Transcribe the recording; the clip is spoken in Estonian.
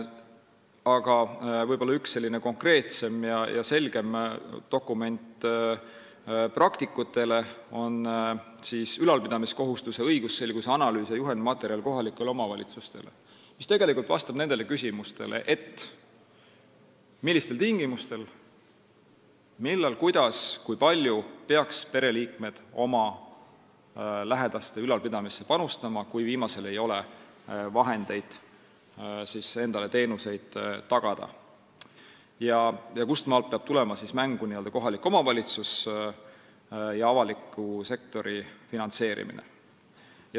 Aga üks võib-olla konkreetsem ja selgem dokument praktikutele on "Ülalpidamiskohustuse õigusselguse analüüs ja juhendmaterjal KOV-idele", mis vastab nendele küsimustele, millistel tingimustel, millal, kuidas ja kui palju peaksid pereliikmed oma lähedase ülalpidamisse panustama, kui viimasel ei ole vahendeid endale teenuseid tagada, ning kustmaalt peab tulema mängu kohaliku omavalitsuse ja avaliku sektori finantseerimine.